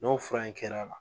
N'o fura in kɛra la